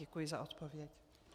Děkuji za odpověď.